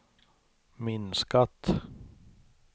minskat